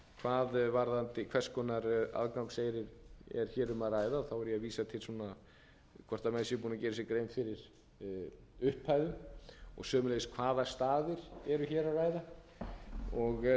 að ræða og þá er ég að vísa til hvort menn séu búnir að gera sér grein fyrir upphæðum og sömuleiðis um hvaða staði er að ræða það eru auðvitað